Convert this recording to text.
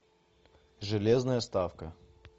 железная ставка